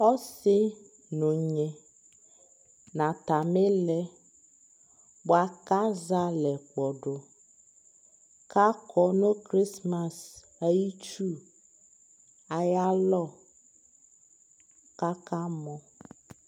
ɔsii nʋ ɔnyi nʋbatami ilɛ bʋakʋ azɛ alɛ kpɔdʋ akɔnʋ Christmas ayi itsʋ ayialɔ kʋ aka mɔ